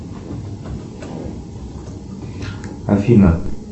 афина